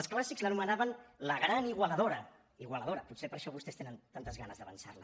els clàssics l’anomenaven la gran igualadora igualadora potser per això vostès tenen tantes ganes d’avançar la